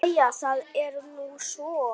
Jæja það er nú svo.